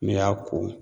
N'i y'a ko